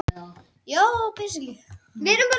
Kosið í sendiráðum ytra